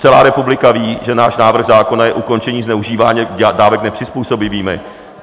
Celá republika ví, že náš návrh zákona je ukončení zneužívání dávek nepřizpůsobivými.